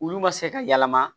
Olu ma se ka yɛlɛma